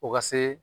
O ka see